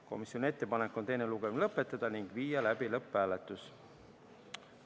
Komisjoni ettepanek on teine lugemine lõpetada ning viia läbi lõpphääletus.